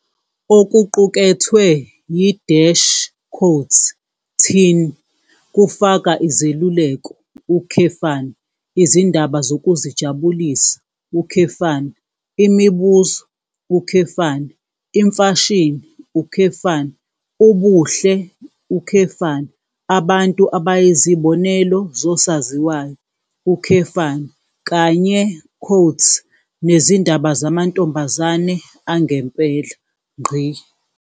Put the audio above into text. Okuqukethwe yi- "Teen" kufaka izeluleko, izindaba zokuzijabulisa, imibuzo, imfashini, ubuhle, abantu abayizibonelo zosaziwayo, kanye "nezindaba zamantombazane angempela".